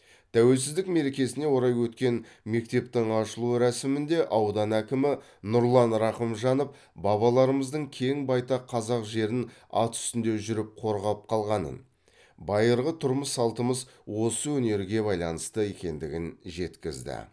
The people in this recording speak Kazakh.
тәуелсіздік мерекесіне орай өткен мектептің ашылу рәсімінде аудан әкімі нұрлан рахымжанов бабаларымыздың кең байтақ қазақ жерін ат үстінде жүріп қорғап қалғанын байырғы тұрмыс салтымыз осы өнерге байланысты екендігін жеткізді